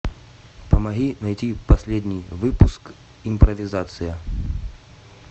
помоги найти последний выпуск импровизация